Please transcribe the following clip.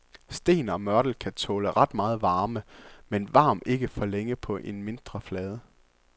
Sten og mørtel kan tåle ret meget varme, men varm ikke for længe på en mindre flade.